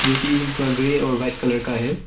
जोकी थोड़ा ग्रे और वाइट कलर का है।